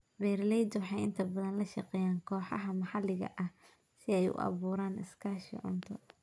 Beeraleydu waxay inta badan la shaqeeyaan kooxaha maxalliga ah si ay u abuuraan iskaashi cunto.